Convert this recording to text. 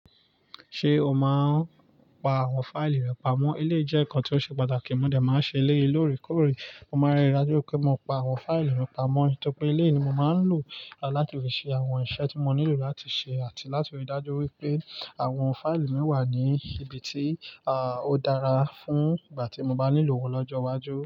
Ṣé o máa ń pa àwọn fáìlì rẹ pamọ́? Eleyii jẹ́ nǹkan tí ó ṣe pàtàkì. Mó de máa ń ṣe eleyiin loorekoore Mo máa rí i dájú pé mo pa àwọn fáìlì mi pamọ́ nítorí pe eleyii ni mo máa ń lò láti fi ṣe àwọn iṣẹ́ tí mo nílò láti ṣe àti láti rí dájú wípé àwọn fáìlì mi wà ní ibi tí, à, ó dára fún ìgbà tí mo bá nílò wọ́n lọ́jọ́ iwájú.